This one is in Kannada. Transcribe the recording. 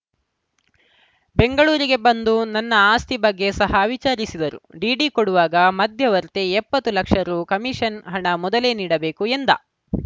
ಬೆಂಗಳೂರಿಗೆ ಬಂದು ನನ್ನ ಆಸ್ತಿ ಬಗ್ಗೆ ಸಹ ವಿಚಾರಿಸಿದರು ಡಿಡಿ ಕೊಡುವಾಗ ಮಧ್ಯವರ್ತಿ ಎಪ್ಪತ್ತು ಲಕ್ಷ ರು ಕಮಿಷನ್‌ ಹಣ ಮೊದಲೇ ನೀಡಬೇಕು ಎಂದ